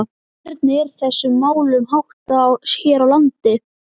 En hvernig er þessum málum háttað hér á landi?